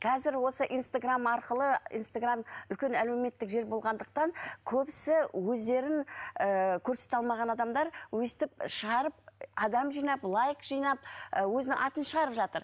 қазір осы инстаграмм арқылы инстаграмм үлкен әлеуметтік желі болғандықтан көбісі өздерін ііі көрсете алмаған адамдар өстіп шығарып адам жинап лайк жинап і өзінің атын шығарып жатыр